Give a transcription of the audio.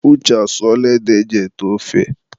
Uche asụọla ede eji ete ofe.